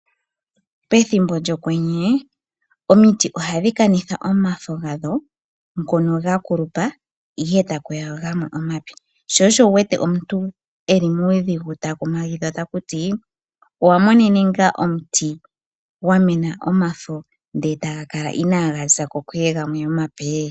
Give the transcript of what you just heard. Pethimbo lyokwenye omiti ohadhi kanitha omafo gadho ngono gakulupa eta kuya gamwe omape, shosho wu wete omuntu eli muudhigu ta kumagidha takuti owamonene ngaa omuti gwamena omafo ndele taga kala inaga zako kuye gamwe omape?